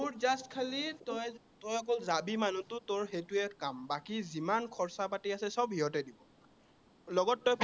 খালি তই, তই অকল যাবি মানুহটো তোৰ সেইটোৱে কাম। বাকী যিমান খৰচা পাতি আছে, সৱ সিহঁতে দিব। লগত তই